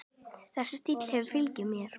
Þessi stíll hefur fylgt mér.